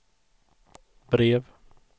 brev